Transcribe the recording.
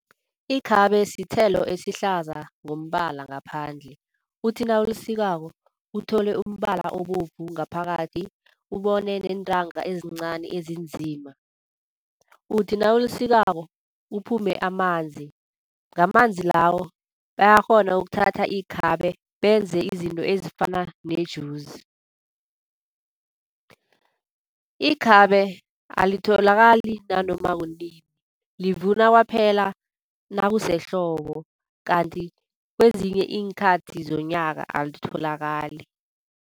Ikhabe sithelo esihlaza ngombala ngaphandle, uthi nawulisikako uthole umbala obovu ngaphakathi ubone neentanga ezincani ezinzima. Uthi nawulisikako kuphume amanzi, ngamanzi lawo bayakghona ukuthatha ikhabe benze izinto ezifana nejuzi. Ikhabe alitholakali nanoma kunini livuna kwaphela nakusehlobo kanti kwezinye iinkathi zonyaka alitholakali.